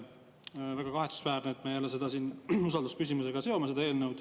Väga kahetsusväärne, et me seda eelnõu jälle siin usaldusküsimusega seome.